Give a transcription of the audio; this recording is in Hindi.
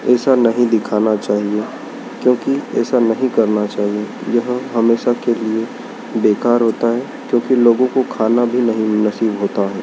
ऐसा नहीं दिखना चाहिए क्योंकि ऐसा नहीं करना चाहिए यह हमेशा के लिए बेकार होता है क्योंकि लोगों को खाना भी नहीं नसीब होता है।